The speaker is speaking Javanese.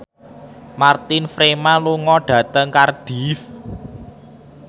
Martin Freeman lunga dhateng Cardiff